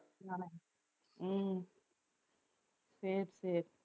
உம் சரி சரி